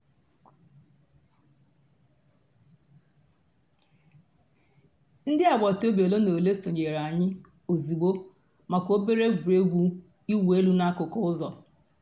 ǹdí àgbàtà òbì òlè nà òlè sọǹyèrè ànyị̀ òzịgbọ̀ mǎká òbèrè ègwè́régwụ̀ ị̀wụ̀ èlù n'àkùkò ǔzọ̀.